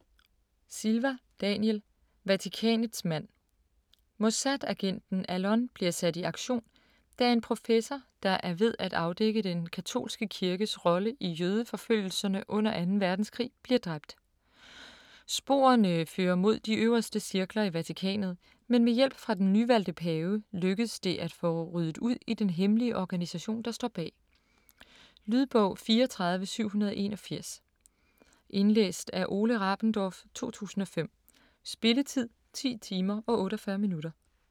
Silva, Daniel: Vatikanets mand Mossad-agenten Allon bliver sat i aktion da en professor der er ved at afdække den katolske kirkes rolle i jødeforfølgelserne under 2. Verdenskrig bliver dræbt. Sporene fører mod de øverste cirkler i Vatikanet, men med hjælp fra den nyvalgte pave, lykkes det at få ryddet ud i den hemmelige organisation der står bag. Lydbog 34781 Indlæst af Ole Rabendorf, 2005. Spilletid: 10 timer, 48 minutter.